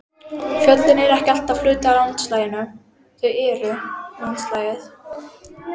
Fjöllin eru ekki hluti af landslaginu, þau eru landslagið.